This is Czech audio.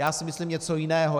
Já si myslím něco jiného.